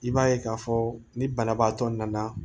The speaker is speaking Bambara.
I b'a ye k'a fɔ ni banabaatɔ nana